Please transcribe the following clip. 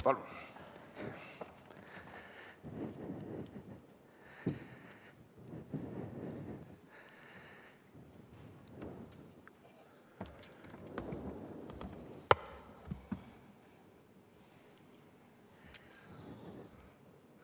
Palun!